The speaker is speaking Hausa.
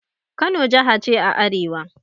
Kano jaha ce a arewa.